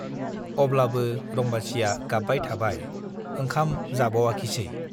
अब्लाबो रम्बासीया गाब्बाय थाबाय , ओंखाम जाबावाखिसै।